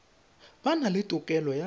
ba na le tokelo ya